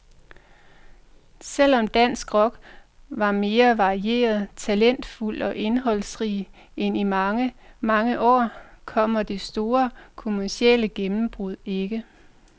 Selv om dansk rock var mere varieret, talentfuld og indholdsrig end i mange, mange år, kom det store kommercielle gennembrud ikke.